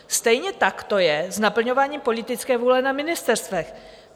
Stejně tak to je s naplňováním politické vůle na ministerstvech.